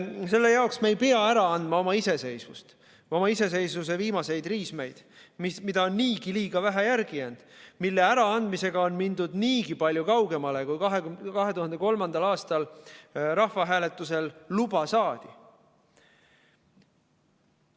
Selle jaoks me ei pea ära andma oma iseseisvust, oma iseseisvuse viimaseid riismeid, mida on niigi vähe järele jäänud ja mille äraandmisega on mindud niigi palju kaugemale, kui 2003. aastal rahvahääletusel luba saadi.